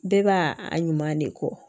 Bɛɛ b'a a ɲuman de kɔ